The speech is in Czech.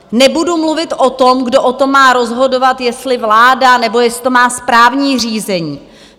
Nebudu mluvit o tom, kdo o tom má rozhodovat, jestli vláda, nebo jestli to má správní řízení.